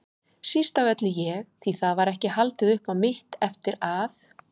Síst af öllu ég, því það var ekki haldið upp á mitt eftir að